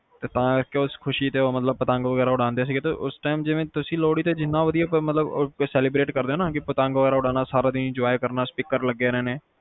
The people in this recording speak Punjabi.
ਤਾ ਉਸ ਖੁਸ਼ੀ ਚ ਪਤੰਗ ਵਗੈਰਾ ਉਡਾਏ ਜਾਂਦੇ ਸੀਗੇ ਉਸ time ਜਿਵੇ ਜਿੰਨਾ ਵਧੀਆ ਤੁਸੀਂ ਲੋਹੜੀ ਤੇ ਜਿੰਨਾ ਵਧੀਆ celebrate ਕਰਦੇ ਓ ਨਾ ਪਤੰਗ ਉਡਾਂਦੇ ਰਹਿਣਾ, speaker ਲੱਗੇ ਰਹਿਣੇ